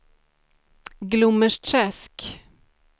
Glommersträsk